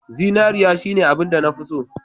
Zinariya shine abinda nafi so.